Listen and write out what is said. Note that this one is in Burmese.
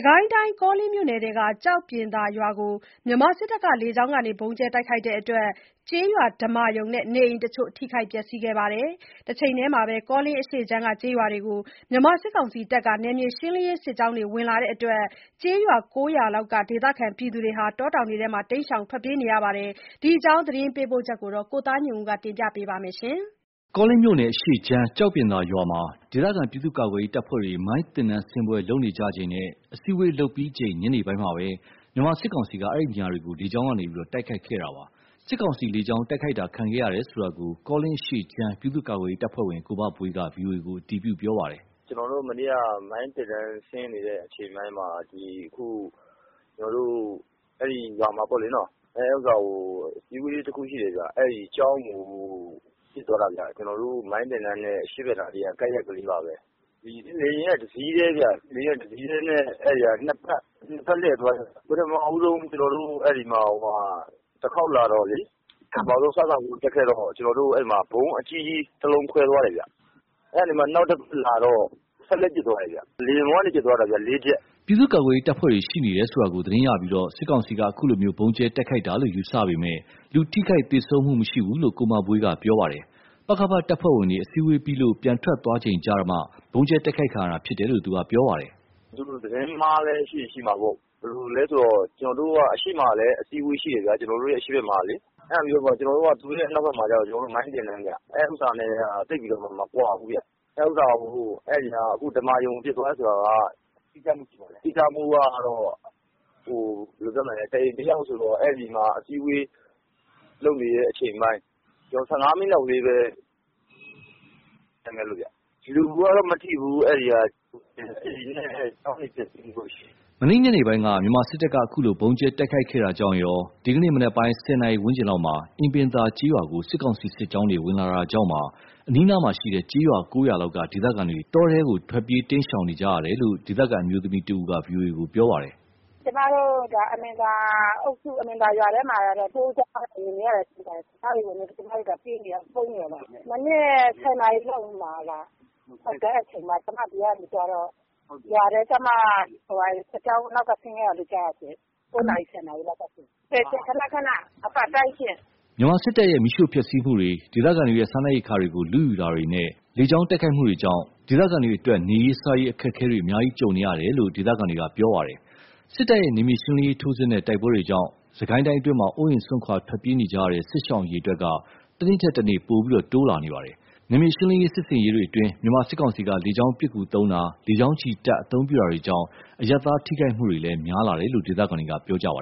ကိုင်းတိုင်း ကောလင်းမြို့နယ်ထဲက ကျောက်ပြင်သာရွာကို မြန်မာစစ်တပ်က လေကြောင်းကနေ ဗုံးကြဲတိုက်ခိုက်လို့ ကျေးရွာဓမ္မာရုံနဲ့ နေအိမ်တချို့ ထိခိုက်ပျက်စီးခဲ့ပါတယ်။ တချိန်တည်းမှာ ကောလင်းအရှေ့ခြမ်းကျေးရွာတွေကို မြန်မာစစ်ကောင်စီတပ်က နယ်မြေရှင်းလင်းရေးစစ်ကြောင်း ဝင်လာလာလို့ ကျေးရွာ ၉ ရွာလောက်က ဒေသခံတွေ တောထဲ တိမ်းရှောင်နေရပါတယ်။ ဒီအကြောင်း သတင်းပေးပို့ချက်ကို ကိုသားညွန့်ဦး ပြောပြပါမယ်။ ကောလင်းမြို့နယ် အရှေ့ခြမ်း ကျောက်ပြင်သာရွာမှာ ဒေသခံ ပြည်သူ့ကာကွယ်ရေး တပ်ဖွဲ့တွေ မိုင်းသင်တန်း ဆင်းပွဲ လုပ်နေကြချိန်နဲ့ အစည်းအဝေးလုပ်ပြီးချိန် ညနေပိုင်းမှာပဲ မြန်မာစစ်ကောင်စီက အဲဒီနေရာတွေကို လေကြောင်းကနေ တိုက်ခိုက်ခဲ့တာပါ။ စစ်ကောင်စီ လေကြောင်းတိုက်ခိုက်တာခံခဲ့ရတယ်ဆိုတာကို ကောလင်းအရှေ့ခြမ်း ပြည်သူ့ကာကွယ်ရေးတပ်ဖွဲ့ဝင် ကိုမဘွေးက VOA ကို အတည်ပြုပြောပါတယ်။ "ကျွန်တော်တို့ မနေ့က မိုင်းသင်တန်း ဆင်းနေကြတဲ့ အချိန်မှာ ဒီအခု ကျွန်တော်တို့ အဲ့ဒီ ရွာမှာပေါ့လေနော၊ အဲ့ဥစ္စာမှာ အစည်းအဝေးလည်း တစ်ခုရှိတယ်ဗျ။ အဲ့မှာ ကျောင်းကို ကျွန်တော်တို့ မိုင်းသင်တန်းနဲ အရှေ့ဖက်ကနား ကပ်ရက်ကလေးပါဘဲ၊ လေယာဉ်က တစ်စီးတည်းဗျ၊ တစ်စီးတည်းကို နှစ်ဖက်လှည့်သွားပြီးတော့ ပထမဆုံး ကျွန်တော်တို့ ဖက်ကို တခေါက်လာတော့လေ ပထမဆုံး စစဦးတက်ခဲ့တော့ အဲ့မှာ ဗုံးအကြီးကြီးတစ်လုံး ခွဲသွားတယ်ဗျ။ အဲ့ကနေမှာ နောက်တစ်ခေါက်လာတော့ စက်သေနတ်နဲ့ ပစ်သွားတယ်ဗျ၊ လေယာဉ်ပေါ်ကနေ ပစ်သွားတာဗျ လေးချက်။" ပြည်သူ့ကာကွယ်ရေးတပ်ဖွဲ့တွေရှိနေတယ်ဆိုတာကို သတင်းရပြီး စစ်ကောင်စီက အခုလိုဗုံးကြဲတိုက်ခိုက်တာလို့ ယူဆပေမယ့်၊ လူထိခိုက်သေဆုံးမှုမရှိဘူးလို့ ကိုမဘွေးက ပြောပါတယ်။ ပကဖ တပ်ဖွဲ့ဝင်တွေ အစည်းအဝေးပြီးလို့ ပြန်ထွက်သွားကြပြီးချိန်မှာမှ ဗုံးကြဲတိုက်ခိုက်ခံရတာ ဖြစ်တယ်လို့ ပြောပါတယ်။ "သူတို့ သတင်းမှားလည်း ဖြစ်ရင်ဖြစ်မှာပေါ့၊ ကျွန်တော်တို့က အရှေ့မှာလည်း အစည်းအဝေးရှိတယ်ဗျာ။ ကျွန်တော်တို့ အရှေ့ဖက်မှာကလေ။ အဲ့ဒါပြီးတော့ သူတို့ရဲ့ အနောက်ဖက်မှာကကျတော့ မိုင်းသင်တန်းဗျ။ အဲ့ဥစ္စာ ၂ ခုက သိပ်ပြီးတော့မှ မကွာဘူးဗျ။ အခု ဓမ္မာရုံကို ပစ်သွားတယ်ဆိုတာက တိကျမှုကတော့ ဘယ်လိုပြောမလဲ တစ်အိမ်တစ်ယောက်ဆိုတော့ အဲ့ဒီမှာ အစည်းအဝေးလုပ်နေတဲ့ အချိန်ပိုင်း ၁၅ မိနစ်လောက်လေးပဲ ကွာတယ်။ လူကတော့ မထိဘူး၊ အဲ့မှာ အိမ်နဲ့ ကျောင်းတချို့လောက်ပဲ ထိခိုက်မှု ရှိတယ်။" မနေ့ည ညနေပိုင်းက မြန်မာစစ်တပ်က အခုလို ဗုံးကျဲ တိုက်ခိုက်ခဲ့တာကြောင့်ရော ဒီကနေ့ မနက်ပိုင်း ၁၀ နာရီ ဝန်းကျင်လောက်မှာ အင်ပင်သာ ကျေးရွာကို စစ်ကောင်စီ စစ်ကြောင်းတွေ ဝင်လာတာကြောင့်ပါ အနီးအနားက ကျေးရွာ ၉ ရွာလောက်က ဒေသခံတွေ တောထဲကို ထွက်ပြေးတိမ်းရှောင်နေကြရတယ်လို့ ဒေသခံ အမျိုးသမီးတဦးက ပြောပါတယ်။ "ကျွန်မတို့ အင်ပင်သာအုပ်စု အင်ပင်သာရွာထဲမှာကတော့ စစ်ကြောင်းဝင်နေတာရှိပါတယ်ရှင့် စစ်ကြောင်းတွေဝင်လာလို့ ကျွန်မတို့ ပြေးနေရ ပုန်းနေရတာပါ။ မနက် ၁၀ နာရီလောက်မှာ ကျွန်မဒီကနေ သွားတော့ ရွာထဲကျမှာ စစ်ကြောင်း နောက်က ဆင်းခဲ့တာလို့ ကြားတယ်ရှင့်။ ၉ နာရီ ၁၀ နာရီလောက်ကရှင့်။ ခဏခဏ အပတ်တိုင်းရှင့်။" မြန်မာစစ်တပ်ရဲ့ မီးရှို့ဖျက်ဆီးမှုတွေ၊ ဒေသခံတွေရဲ့ စားနပ်ရိက္ခာတွေကို လုယူတာတွေနဲ့ လေကြောင်းတိုက်ခိုက်မှုတွေကြောင့် ဒေသခံတွေအတွက် နေရေး စားရေး အခက်အခဲတွေ အများကြီးကြုံနေကြရတယ်လို့ ဒေသခံတွေက ပြောပါတယ်။ စစ်တပ်ရဲ့ နယ်မြေရှင်းလင်းရေး ထိုးစစ်နဲ့ တိုက်ပွဲတွေကြောင့် စစ်ကိုင်းအတွင်းမှာ အိုးအိမ် စွန့်ခွာ ထွက်ပြေးနေကြရတဲ့ စစ်ရှောင် အရေ အတွက်တွေက တနေ့ထက်တနေ့ ပိုပြီးတိုးလာနေပါတယ်။ နယ်မြေရှင်းလင်းရေးစစ်ဆင်ရေးတွေမှာ မြန်မာစစ်ကောင်စီက လေကြောင်းပစ်ကူသုံးတာ၊ လေကြောင်းချီတပ် အသုံးပြုတာတွေကြောင့် အရပ်သားထိခိုက်မှုတွေလည်း များလာတယ်လို့ ဒေသခံတွေက ပြောပါ